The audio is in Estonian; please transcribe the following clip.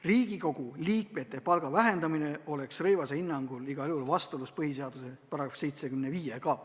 Riigikogu liikmete palga vähendamine oleks Rõivase hinnangul siiski igal juhul vastuolus põhiseaduse §-ga 75.